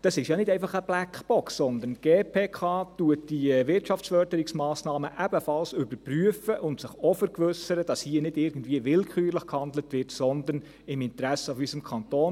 Es ist nicht einfach eine Blackbox, sondern die GPK überprüft diese Wirtschaftsförderungsmassnahmen ebenfalls und vergewissert sich, dass hier nicht willkürlich gehandelt wird, sondern im Interesse unseres Kantons.